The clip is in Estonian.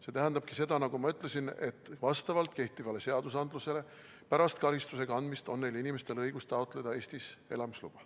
See tähendabki seda, nagu ma ütlesin, et vastavalt kehtivatele seadustele on neil inimestel pärast karistuse kandmist õigus taotleda Eestis elamise luba.